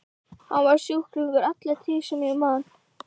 Hann var sjúklingur alla tíð sem ég man.